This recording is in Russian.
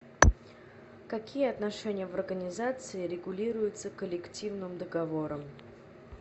какие отношения в организации регулируются коллективным договором